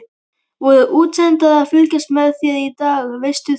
Voru útsendarar að fylgjast með þér í dag, veistu það?